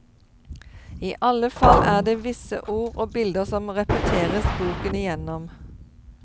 I alle fall er det visse ord og bilder som repeteres boken igjennom.